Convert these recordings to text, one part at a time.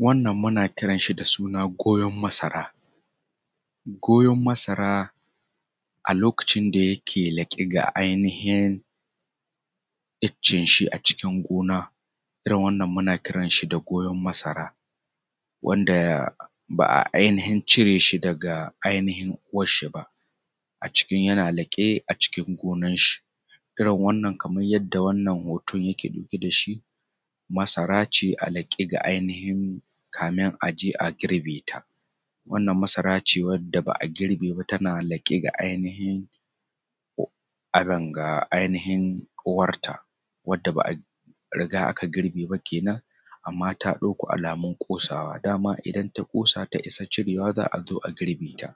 Wannan muna kiran shi da suna goyon masara. Goyon masara a lokacin da yake laƙe ga ainihin iccen shi a cikin gona. Irin wannan muna kiran shi da goyon masara wanda ba ai ainihin cire shi daga ainihin uwashshi ba, a ciki yana laƙe a cikin gonar shi. Irin wannan kamar yadda wannan hoto yake ɗauke, shi masara ce a laƙe ga ainihin kamun a je a girbe ta. Wannan masara ce wadda ba a girbe ba tana laƙe ga ainihin, ainihin uwarta wanda ba a riga aka girbe ba kenan, amman ta ɗauko alamun ƙosawa. Daman ta ƙosa ta isa cirewa za a zo a girbe ta,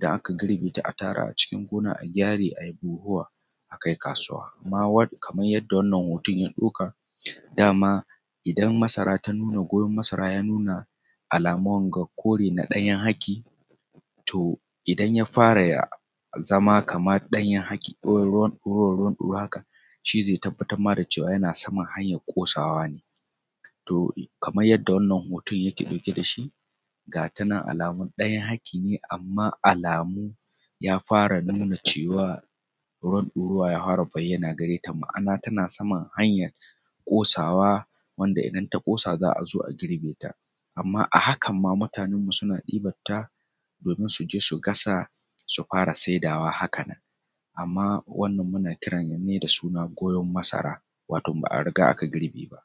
idam aka girbe ta za ta taru a cikin gona a gyare ai buhuwa a kai kasuwa. Amman kamar yadda wannan hoto ya ɗauka dama idan masara ta nuna goyon masara ya nuna alamun ga kore na ɗanyan haki to idan ya fara zama kamar ɗanyen haki ko ɗoruwar haka shi zai tabbatar ma da cewa yana sama hanyar ƙosawa ne kamar yadda wannan hoto yake ɗauke da shi ga ta nan alamun ɗanyen haki ne, amman alamu ya fara nuna cewa ruwan ɗoruwa ya fara bayyana gareta, ma’ana tana saman hanyar ƙosawa wanda idan ta ƙosa za a zo a girbe ta. Amman a hakan ma mutanen mu suna ɗiban ta domin su je su gasa, su fara saidawa haka nan. Amman wannan muna kira ne da suna goyon masara wato ba a riga aka girbe ba.